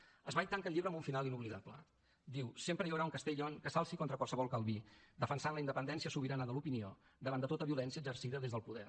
zweig tanca el llibre amb un final inoblidable diu sempre hi haurà un castellio que s’alci contra qualsevol calví defensant la independència sobirana de l’opinió davant de tota violència exercida des del poder